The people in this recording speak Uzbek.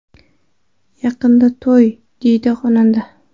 Yaqinda to‘y”, deydi xonanda.